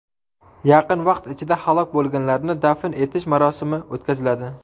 Yaqin vaqt ichida halok bo‘lganlarni dafn etish marosimi o‘tkaziladi.